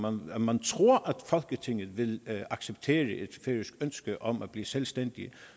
om at man tror at folketinget vil acceptere et færøsk ønske om at blive selvstændig er